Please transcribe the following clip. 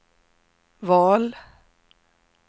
val